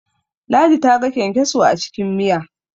ladi ta ga kyankyaso a cikin Miya